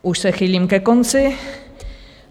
Už se chýlím ke konci.